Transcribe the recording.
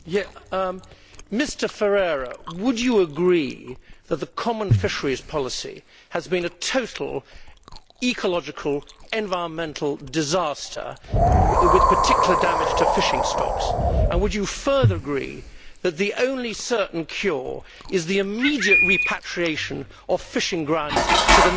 Mr Ferreira, would you agree that the common fisheries policy has been a total ecological, environmental disaster, with particular damage to fishing stocks, and would you further agree that the only certain cure is the immediate repatriation of fishing grounds to the nation states,